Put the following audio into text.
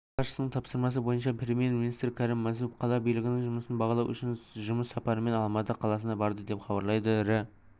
мемлекет басшысының тапсырмасы бойынша премьер-министрі кәрім мәсімов қала билігінің жұмысын бағалау үшін жұмыс сапарымен алматы қаласына барды деп хабарлайды рі